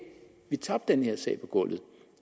vi tabte den her sag på gulvet